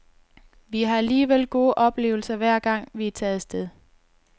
Vi har alligevel gode oplevelser, hver gang vi er taget af sted.